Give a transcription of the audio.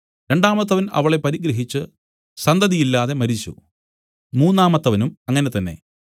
രണ്ടാമത്തവൻ അവളെ പരിഗ്രഹിച്ച് സന്തതിയില്ലാതെ മരിച്ചു മൂന്നാമത്തവനും അങ്ങനെ തന്നെ